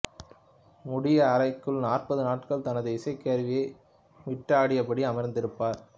மூடிய அறைக்குள் நாற்பது நாட்கள் தனது இசைக்கருவியை மீட்டியபடி அமர்ந்திருப்பர்